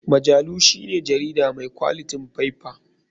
Majalu shine jarida mai kwalitin faiffa.